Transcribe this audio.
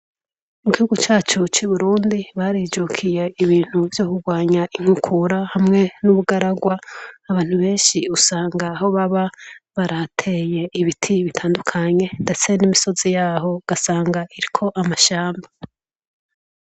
Mu gihugu cacu c'Uburundi barijukiye ibintu vyo kurwanya inkukura hamwe n'ubugaragwa abantu benshi usanga aho baba barahateye ibiti bitandukanye ndetse n'imisozi yaho ugasanga iriko amashamba.